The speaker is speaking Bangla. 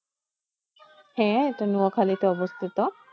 হ্যাঁ এটা নোয়াখালীতে অবস্থিত।